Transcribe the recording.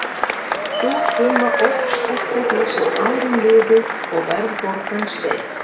Sú summa óx eftir því sem árin liðu og verðbólgan steig.